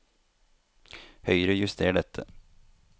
Høyrejuster dette